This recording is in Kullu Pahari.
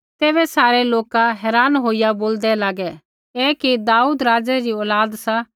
तैबै सारै लोक हैरान होईया बोलदै लागै ऐ कि दाऊद राज़ै री औलाद सा